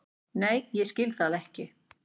Nei ég skil það ekki.